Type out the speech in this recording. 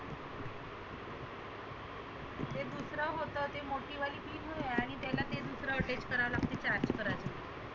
ते दुसरं होतं ते मोठी वाली pin होए आणि त्याला ते दुसरंं charge करण.